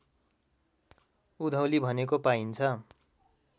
उधौली भनेको पाइन्छ